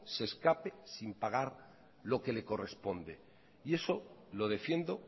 se escape sin pagar lo que le corresponde y eso lo defiendo